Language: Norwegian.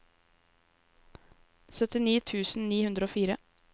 syttini tusen ni hundre og fire